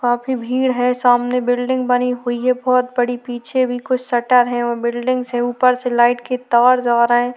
काफी भीड़ है सामने बिलडिंग बनी हुई है बहोत बड़ी पीछे भी कुछ शटर है बहोत बड़ी बिलडिंग्स है ऊपर से लाइट के तार जा रहे है।